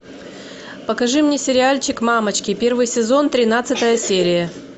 покажи мне сериальчик мамочки первый сезон тринадцатая серия